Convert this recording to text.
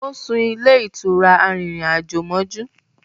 O sún ilé ìtura arìnrìn-àjò mójú